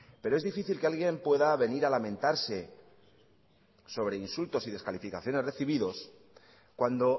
pero es difícil que alguien pueda venir a lamentarse sobre insultos y descalificaciones recibidos cuando